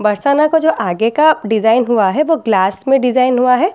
बरसाना का जो आगे का डिजाइन हुआ है वो ग्लास में डिजाइन हुआ है।